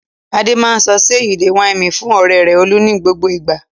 Adé máa sọ "ṣe you dey whine me" fún ọ̀rẹ́ rẹ̀ Olú ní gbogbo ìgbà.